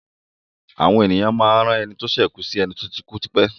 Àwon èèyàn a máá rán eni tó sè kùù sì eni tó ti kúú tipé.